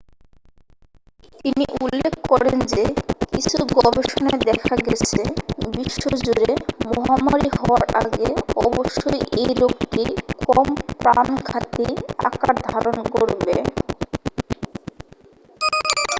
তিনি উল্লেখ করেন যে কিছু গবেষণায় দেখা গেছে বিশ্বজুড়ে মহামারী হওয়ার আগে অবশ্যই এই রোগটি কম প্রাণঘাতী আকার ধারণ করবে